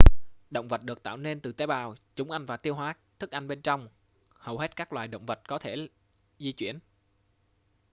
động vật được tạo nên từ tế bào chúng ăn và tiêu hóa thức ăn bên trong hầu hết các loài động vật có thể di chuyển